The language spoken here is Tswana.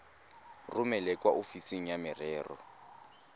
romele kwa ofising ya merero